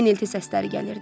Enilti səsləri gəlirdi.